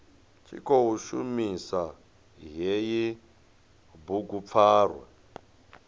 tshi khou shumisa hei bugupfarwa